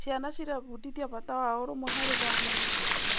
Ciana cirebundithia bata wa ũrũmwe harĩ bamĩrĩ.